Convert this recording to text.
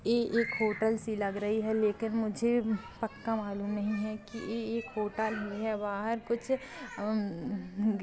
ये एक होटल सी लग रही है लेकिन मुझे पक्का मालूम नहीं है की ये एक होटल ही है बाहर कुछ अम्म--